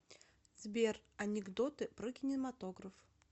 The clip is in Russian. сбер анекдоты про кинематограф